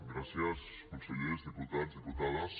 gràcies consellers diputats diputades